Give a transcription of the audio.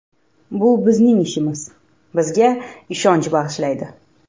Bu bizning ishimiz, bizga ishonch bag‘ishlaydi.